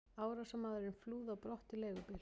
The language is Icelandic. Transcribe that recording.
Árásarmaðurinn flúði á brott í leigubíl.